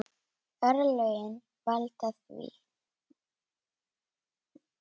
Örlögin valda því.